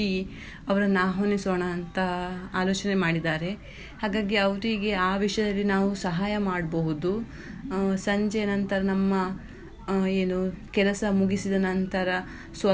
ಅವರನ್ನು ಆಹ್ವಾನಿಸೋಣ ಅಂತ ಆಲೋಚನೆ ಮಾಡಿದ್ದಾರೆ ಹಾಗಾಗಿ ಅವರಿಗೆ ಆ ವಿಷಯದಲ್ಲಿ ನಾವು ಸಹಾಯ ಮಾಡ್ಬೋದು ಸಂಜೆ ನಂತರ ನಮ್ಮ ಆ ಏನು ಕೆಲಸ ಮುಗಿಸಿದ ನಂತರ.